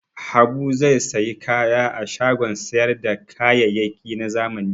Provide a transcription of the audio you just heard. Habu zai sayi kaya a shagon sayar da kayayyaki na zamani.